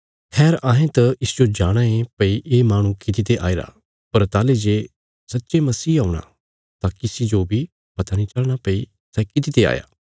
खैर अहें त इसजो जाणाँ ये भई ये माहणु किति ते आईरा पर ताहली जे सच्चे मसीह औंणा तां किसी जो बी पता नीं चलना भई सै कितिते आया